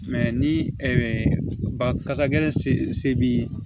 ni baga ye se b'i ye